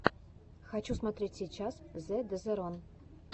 хочу смотреть сейчас зэ дезерон